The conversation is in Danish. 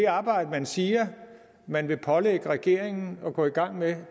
arbejde man siger man vil pålægge regeringen at gå i gang med